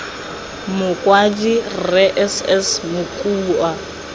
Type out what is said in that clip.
mokwadi rre s s mokua